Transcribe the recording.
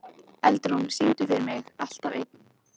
Eldrún, syngdu fyrir mig „Alltaf einn“.